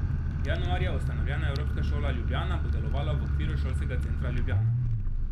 Januarja ustanovljena Evropska šola Ljubljana bo delovala v okviru Šolskega centra Ljubljana.